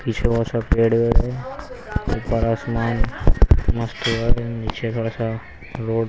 पीछे बहुत सा पेड़ है ऊपर आसमान मस्त है नीचे थोड़ा सा रोड ---